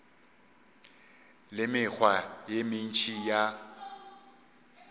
le mekgwa ye mentši ya